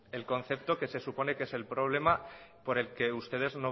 el concepto que se supone que es problema por el que ustedes